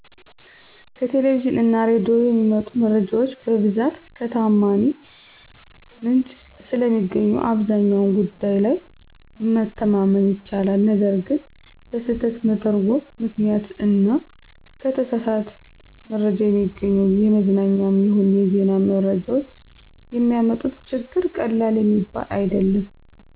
ከቴሌቪዥን እና ሬዲዮ የሚመጡ መረጃዎች በብዛት ከተዓማኒ ምንጭ ስለሚገኙ አብዛኛው ጉዳይ ላይ መተማመን ይቻላል። ነገር ግን በስህተት መተርጐም ምክንያት እና ከተሳሳት መረጃ የሚገኙ የመዝናኛም ይሁን የዜና መረጃዎች የሚያመጡት ችግር ቀላል የሚባል አይደለም።